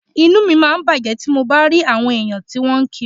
Inú mi máa ń bàjẹ́ tí mo bá rí àwọn èèyàn tí wọ́n ń kiri